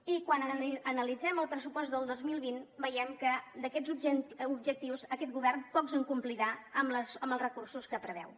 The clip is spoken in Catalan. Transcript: i quan analitzem el pressupost del dos mil vint veiem que d’aquests objectius aquest govern pocs en complirà amb els recursos que preveu